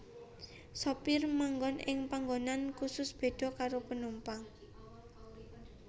Sopir manggon ing panggonan khusus beda karo penumpang